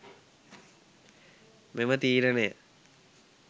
මෙම තිරනය